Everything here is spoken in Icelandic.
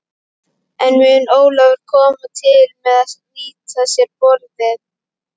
En mun Ólafur koma til með að nýta sér borðið?